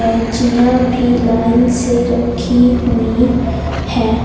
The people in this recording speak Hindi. कैंचियां भी लाइन से रखी हुई है।